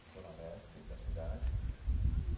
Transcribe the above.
na Zona Leste da cidade.